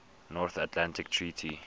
north atlantic treaty